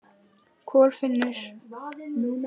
Kolfinnur